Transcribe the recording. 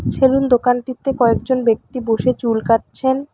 Salon দোকানটিতে কয়েকজন ব্যক্তি বসে চুল কাটছেন।